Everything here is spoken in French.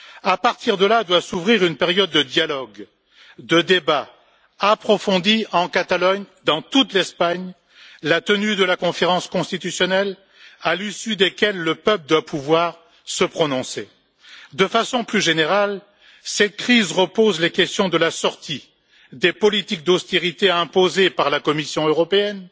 À partir de là doit s'ouvrir une période de dialogue et de débat approfondi en Catalogne et dans toute l'Espagne, dans la perspective de la conférence constitutionnelle, à l'issue de laquelle le peuple doit pouvoir se prononcer. De façon plus générale, cette crise pose une nouvelle fois les questions de la sortie des politiques d'austérité imposées par la Commission européenne,